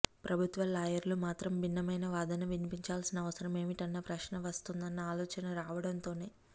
ప్రభుత్వ లాయర్లు మాత్రం భిన్నమైన వాదన వినిపించాల్సిన అవసరం ఏమిటన్న ప్రశ్న వస్తుందన్న ఆలోచన రావడంతోనే